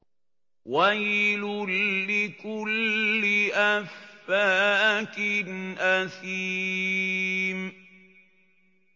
وَيْلٌ لِّكُلِّ أَفَّاكٍ أَثِيمٍ